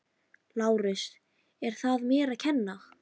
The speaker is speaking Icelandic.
LÁRUS: Er það mér að kenna?